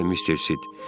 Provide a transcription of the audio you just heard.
Bəli, Mister Sid.